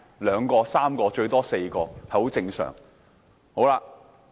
兩個、三個，最多是四個，是很正常的。